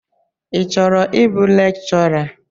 Ị chọrọ ịbụ lekchọra?